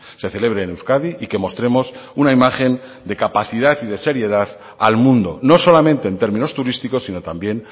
se celebre en euskadi y que mostremos una imagen de capacidad y de seriedad al mundo no solamente en términos turísticos sino también